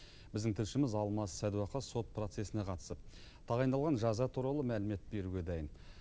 біздің тілшіміз алмас садуақас сот процесіне қатысып тағайындалған жаза туралы мәлімет беруге дайын